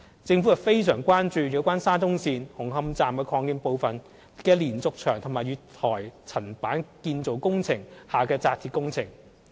政府非常關注有關沙中線紅磡站擴建部分的連續牆及月台層板建造工程下的扎鐵工程。